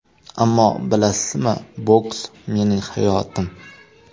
Ammo, bilasizmi, boks mening hayotim.